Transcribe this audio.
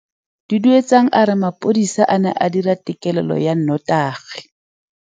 Duduetsang a re mapodisa a ne a dira têkêlêlô ya nnotagi.